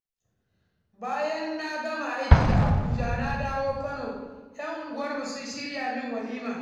Bayan na gama aiki a Abuja na dawo kano, 'yan unguwarmu sun shirya min walima.